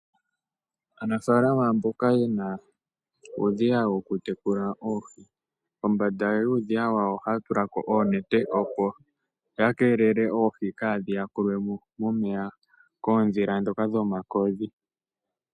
Anafalama mboka yena uudhiya woku tekula oohi, kombanda yuudhiya wawo ohaya tulako oonete, opo ya kelele oohi kadhi yakulwemo momeya koodhila dhoka dhomakodhi.